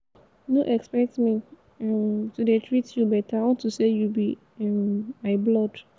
no expect me um to dey treat you beta unto say you be um my blood.